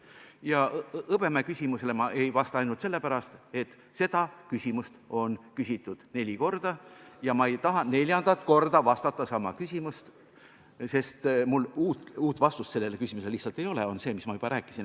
Ja Hõbemäe küsimusele ei vasta ma ainult sellepärast, et seda küsimust on küsitud neli korda ja ma ei taha neljandat korda samale küsimusele vastata, sest uut vastust mul sellele küsimusele lihtsalt ei ole – on ainult see, mida ma juba rääkisin.